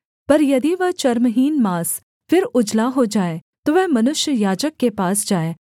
पर यदि वह चर्महीन माँस फिर उजला हो जाए तो वह मनुष्य याजक के पास जाए